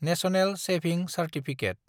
national savings certificate